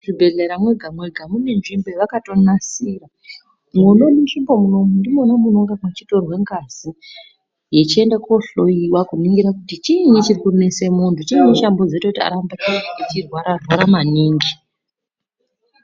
Muzvibhehlera mwega mweha mune nzvimbo yavakatonasira. Mwona munzvimbo munomu ndimwona munenge muchitorw ngazi yechienda kohloyiwa kuti chiini chirikunesa muntu, chiinyi chazomboita arambe achirwara rwara maningi.